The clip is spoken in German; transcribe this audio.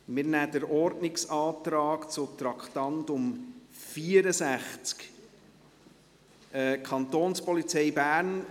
Wir nehmen zuerst den Ordnungsantrag zum Traktandum 64, «Kantonspolizei Bern;